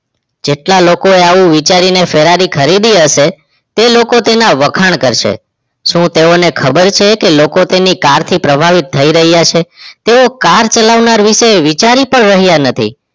જેટલા લોકોએ આવું વિચારીને ફરારી ખરીદી હશે તે લોકો તેના વખાણ કરશે શું તેઓને ખબર છે કે લોકો તેના car થી પ્રભાવિત થઈ રહ્યા છે તેવો car ચલાવનાર વિશે વિચારી પણ રહ્યા નથી